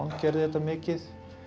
gerði þetta mikið